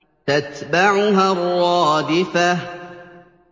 تَتْبَعُهَا الرَّادِفَةُ